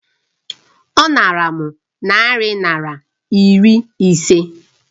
Ọ nara m narị naira iri ise